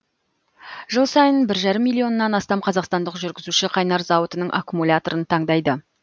жыл сайын бір жарым миллионнан астам қазақстандық жүргізуші қайнар зауытының аккумуляторын таңдайды